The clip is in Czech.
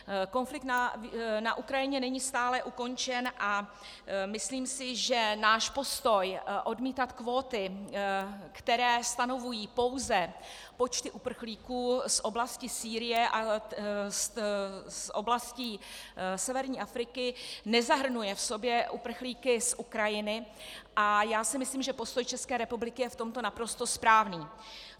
Konflikt na Ukrajině není stále ukončen a myslím si, že náš postoj odmítat kvóty, které stanovují pouze počty uprchlíků z oblasti Sýrie a z oblastí severní Afriky, nezahrnuje v sobě uprchlíky z Ukrajiny, a já si myslím, že postoj České republiky je v tomto naprosto správný.